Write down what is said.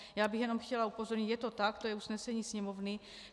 Já bych jenom chtěla upozornit, je to tak, to je usnesení Sněmovny.